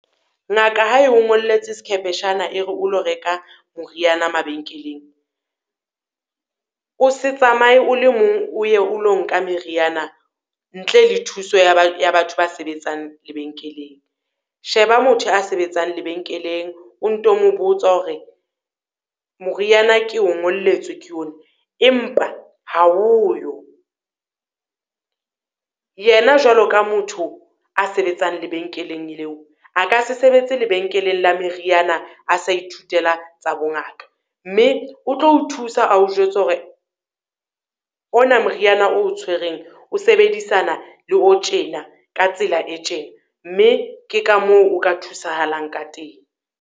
Ngaka ha e o ngolletse sekhepeshana, e re o lo reka moriana mabenkeleng, o se tsamaye o le mong o ye o lo nka meriana ntle le thuso ya ya batho ba sebetsang lebenkeleng. Sheba motho a sebetsang lebenkeleng, o nto mo botsa hore moriana ke o ngolletswe ke yona, empa ha oyo, yena jwalo ka motho a sebetsang lebenkeleng leo, a ka se sebetsa lebenkeleng la meriana a sa ithutela tsa bongaka. Mme o tlo o thusa a o jwetse hore ona moriana o o, tshwereng o sebedisana le o tjena ka tsela e tjena, mme ke ka moo o ka thusahalang ka teng.